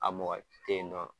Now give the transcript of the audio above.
A mɔgɔ te yen nɔn